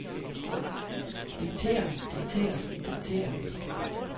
diktere diktere diktere